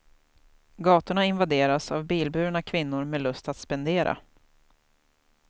Gatorna invaderas av bilburna kvinnor med lust att spendera.